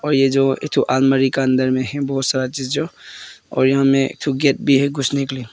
और ये जो एक ठो अलमारी का अंदर में है बहोत सारा चीज जो और यहां में एक ठो गेट भी है घुसने के लिए।